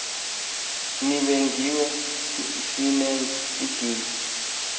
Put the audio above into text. nibingiwe sinenz idini